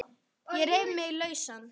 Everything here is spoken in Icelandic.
Ég reif mig lausan.